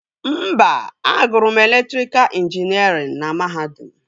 Mba, agụrụ m elektrika ịnjinierịn na mahadum